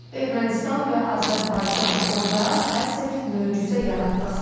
Ermənistan və Azərbaycan orda əsl möcüzə yaratdıq.